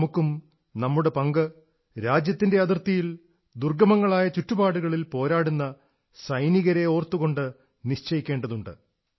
നമുക്കും നമ്മുടെ പങ്ക് രാജ്യത്തിന്റെ അതിർത്തിയിൽ ദുർഗ്ഗമങ്ങളായ ചുറ്റുപാടുകളിൽ പോരാടുന്ന സൈനികരെ ഓർത്തുകൊണ്ട് നിശ്ചയിക്കേണ്ടതുണ്ട്